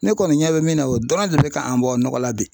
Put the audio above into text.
Ne kɔni ɲɛ bɛ min na o dɔrɔn de bɛ k'an bɔ nɔgɔ la bi